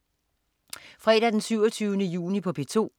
Fredag den 27. juni - P2: